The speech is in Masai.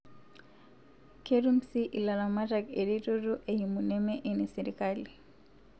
Ketum sii ilaramatak ereteto eimu neme enesirikali